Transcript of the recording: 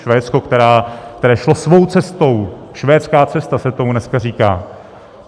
Švédsko, které šlo svou cestou, švédská cesta se tomu dneska říká.